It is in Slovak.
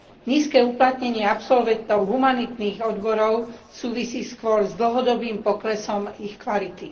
Nízke uplatnenie absolventov humanitných odborov súvisí skôr s dlhodobým poklesom ich kvality.